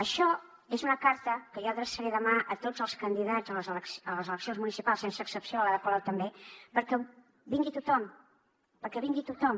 això és una carta que jo adreçaré demà a tots els candidats a les eleccions municipals sense excepció a l’ada colau també perquè vingui tothom perquè vingui tothom